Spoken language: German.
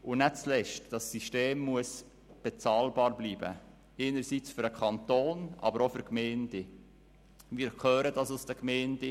Und nicht zuletzt muss das System bezahlbar bleiben, einerseits für den Kanton, aber andererseits auch für die Gemeinden.